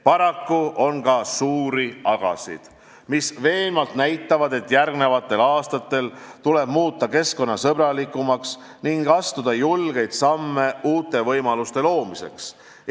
Paraku on ka suuri "agasid", mis veenvalt näitavad, et järgmistel aastatel tuleb muutuda keskkonnasõbralikumaks ning astuda julgeid samme uute võimaluste loomiseks.